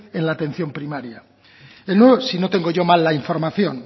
en la atención primaria el nuevo si no tengo yo mal la información